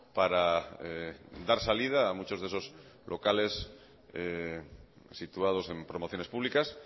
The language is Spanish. para dar salida a muchos de esos locales situados en promociones públicas